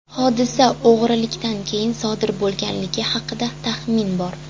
Hodisa o‘g‘rilikdan keyin sodir bo‘lganligi haqida taxmin bor.